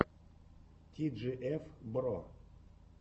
ти джи эф бро